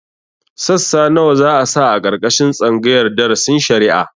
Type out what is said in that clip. Sassa nawa za a sa a ƙarƙashin tsangayar darasin shari'a?